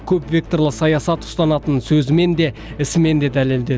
көп векторлы саясат ұстанатынын сөзімен де ісімен де дәлелдеді